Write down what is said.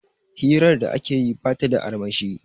hirar da ake yi ba ta da armashi